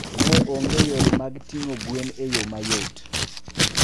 Ne onge yore mag ting'o gwen e yo mayot.